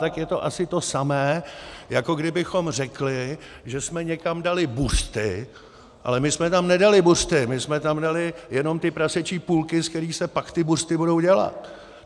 Tak je to asi to samé, jako kdybychom řekli, že jsme někam dali buřty - ale my jsme tam nedali buřty, my jsme tam dali jenom ty prasečí půlky, z kterých se pak ty buřty budou dělat.